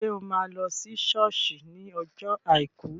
Ṣé o máa lọ sí sọ́ọ̀sì ní ọjọ́ àìkú?